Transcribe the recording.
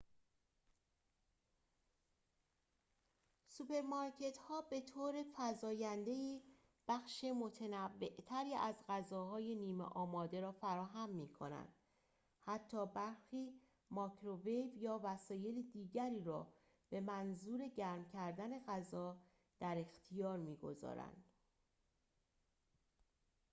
سوپرمارکت‌ها به‌طور فزاینده‌ای بخش متنوع‌تری از غذاهای نیمه‌آماده را فراهم می‌کنند حتی برخی مایکروویو یا وسایل دیگری را به منظور گرم کردن غذا در اختیار می‌گذارند